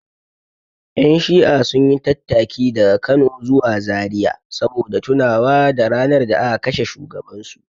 Ƴan shi'a sun yi tattaki daga Kano zuwa Zariya saboda tunawa da ranar da aka kashe shugabansu.